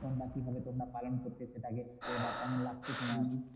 বা কিভাবে তোমরা পালন করতে সেটাকে বা কেমন লাগতো তোমার?